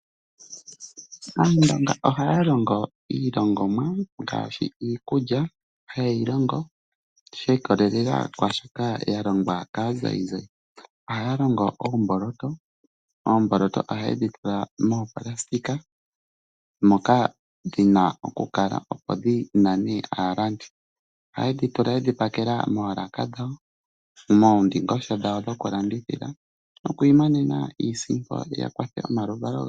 Aaniilonga ohaya longo ilongomwa ngaashi iikulya haye yi longo shi ikolela kwaa shoka ya longwa kaazayizayi. Ohaya longo oomboloto. Oomboloto ohaye dhi tula moopulasitika, moka dhi na okukala, opo dhi nane aalandi. Ohaye dhi tula ye dhi pakela moolaka dhawo, moondingosho dhawo dhokulandithila, noku imonena iisimpo ya kwathele omaluvalo gawo.